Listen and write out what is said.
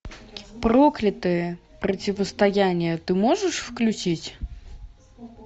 проклятые противостояние ты можешь включить